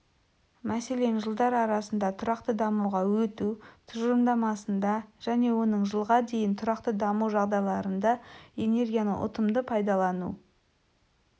мәселен жылдар арасында тұрақты дамуға өту тұжырымдамасында және оның жылға дейін тұрақты даму жағдайларында энергияны ұтымды пайдалану